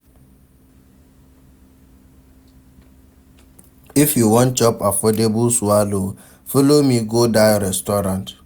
If you wan chop affordable swallow, folo me go dat restaurant.